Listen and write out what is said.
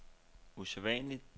usædvanligt